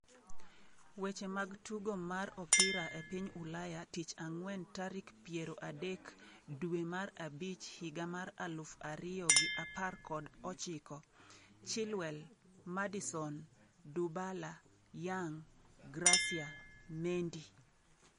Weche mag tugo mar opira e piny Ulaya Tich Ang'wen tarik piero adek dwe mar abich higa mar aluf ariyo gi apar kod ochiko: Chilwell, Maddison, Dybala, Young, Gracia, Mendy